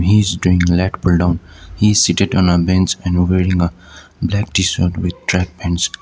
he's doing leg pulldown he seated on a bench and wearing a black t-shirt and with track pants.